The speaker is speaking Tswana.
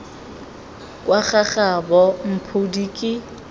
kwa ga gabo mphodi ke